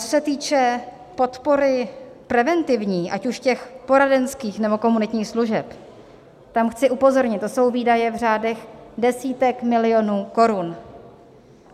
Co se týče podpory preventivní, ať už těch poradenských, nebo komunitních služeb, tam chci upozornit: to jsou výdaje v řádech desítek milionů korun.